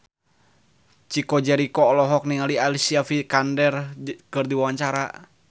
Chico Jericho olohok ningali Alicia Vikander keur diwawancara